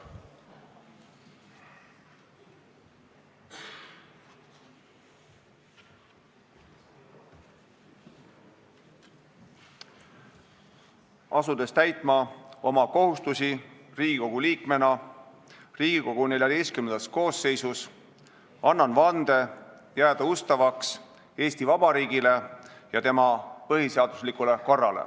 Asudes täitma oma kohustusi Riigikogu liikmena Riigikogu XIV koosseisus, annan vande jääda ustavaks Eesti Vabariigile ja tema põhiseaduslikule korrale.